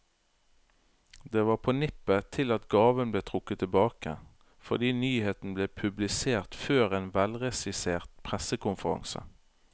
Det var på nippet til at gaven ble trukket tilbake, fordi nyheten ble publisert før en velregissert pressekonferanse.